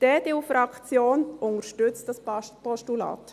Die EDU-Fraktion unterstützt dieses Postulat.